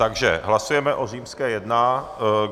Takže hlasujeme o římské jedna.